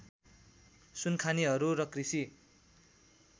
सुनखानीहरू र कृषि